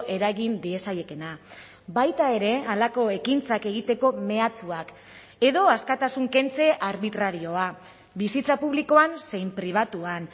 eragin diezaiekeena baita ere halako ekintzak egiteko mehatxuak edo askatasun kentze arbitrarioa bizitza publikoan zein pribatuan